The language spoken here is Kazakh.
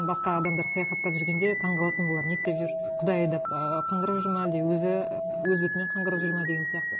басқа адамдар саяхаттап жүргенде таңғалатынмын олар не істеп жүр құдай айдап ы қанғырып жүр ме әлде өзі өз бетімен қанғырып жүр ме деген сияқты